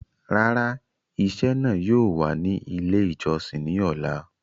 Rárà, ìṣẹ̀ náà yóò wà ní ilẹ̀ ìjọ̀ṣìn ni ọlá.